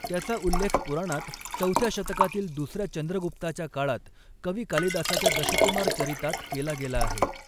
त्याचा उल्लेख पुराणांत, चौथ्या शतकातील दुसऱ्या चंद्रगुप्ताच्या काळात, कवी कालिदासाच्या दशकुमार चरितात केला गेला आहे.